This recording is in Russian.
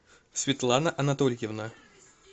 светлана анатольевна